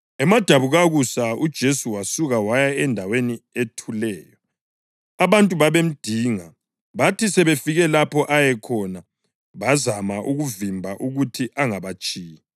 Emadabukakusa uJesu wasuka waya endaweni ethuleyo. Abantu babemdinga bathi sebefike lapho ayekhona, bazama ukumvimba ukuthi angabatshiyi.